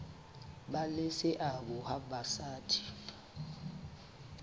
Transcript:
ba le seabo ha basadi